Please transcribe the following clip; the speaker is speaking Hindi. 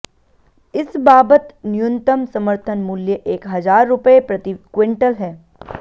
इस बाबत न्यूनतम समर्थन मूल्य एक हजार रुपये प्रति क्विंटल है